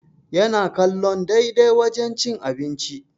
Yana kallon daidai wajen cin abinci